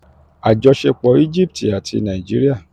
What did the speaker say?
àjọṣepọ̀ um egypt àti um egypt àti nàìjíríà um